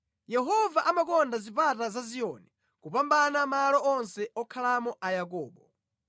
Yehova amakonda zipata za Ziyoni kupambana malo onse okhalamo a Yakobo.